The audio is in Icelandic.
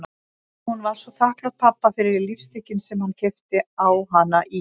Hún var svo þakklát pabba fyrir lífstykkin sem hann keypti á hana í